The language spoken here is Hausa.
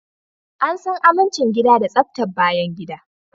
An san amincin gida da tsaftar bayangida